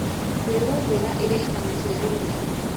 Mbegũ njega ĩrehaga macĩaro mega